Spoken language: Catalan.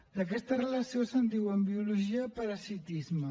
d’aquesta relació se’n diu en biologia parasitisme